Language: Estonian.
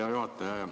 Hea juhataja!